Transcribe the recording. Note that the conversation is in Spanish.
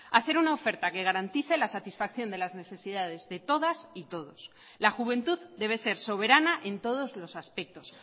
hacer una oferta que garantice la satisfacción de las necesidades de todas y todos la juventud debe ser soberana en todos los aspectos